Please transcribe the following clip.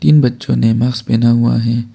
इन बच्चों ने मास्क पहना हुआ है।